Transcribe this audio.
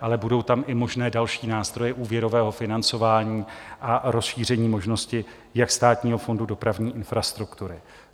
ale budou tam i možné další nástroje úvěrového financování a rozšíření možnosti jak Státního fondu dopravní infrastruktury.